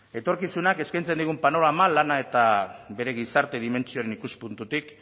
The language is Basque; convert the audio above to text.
etorkizunak eskaintzen digun panorama lana eta bere gizarte dimentsioaren ikuspuntutik